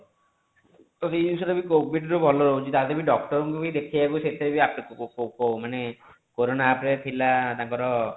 ତ ଏଇ ଜିନିଷ ଟା ବି covid ରେ ଭଲ ରହୁଛି ତା ଭିତରେ doctor ଙ୍କୁ ଭି ଦେଖେଇବାକୁ ସେଥିରେ ଆସୁଛି ମାନେ କୋରୋନା ରେ ଥିଲା ତାଙ୍କର